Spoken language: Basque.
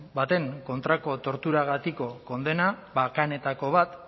baten kontrako torturagatiko kondena bakanetako bat